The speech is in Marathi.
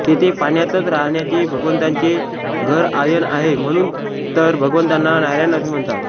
तेथे पाण्यातच राहण्याचे भगवंतांचे घरआयनआहे म्हणून तर भगवंतांना नारायण असे म्हणतात